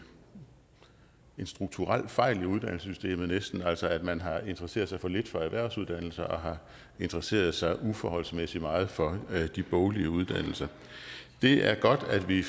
strukturel fejl i uddannelsessystemet altså at man har interesseret sig for lidt for erhvervsuddannelserne og har interesseret sig uforholdsmæssigt meget for de boglige uddannelser det er godt at vi